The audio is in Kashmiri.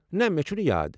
نہ، مےٚ چھُنہٕ یاد۔